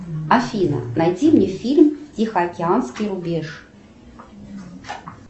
афина найди мне фильм тихоокеанский рубеж